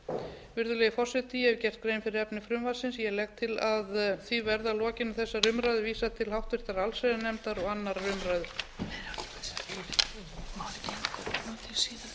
umfjöllunar virðulegi forseti ég hef gert grein fyrir efni frumvarpsins ég legg til að því verði að lokinni þessari umræðu vísað til háttvirtrar allsherjarnefndar og annarrar umræðu